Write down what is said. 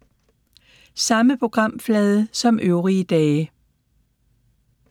Samme programflade som øvrige dage